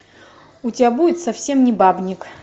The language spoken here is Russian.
у тебя будет совсем не бабник